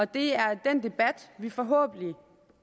det er den debat vi forhåbentlig